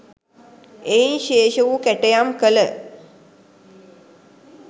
එයින් ශේෂ වූ කැටයම් කල